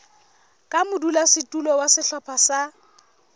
ka modulasetulo wa sehlopha sa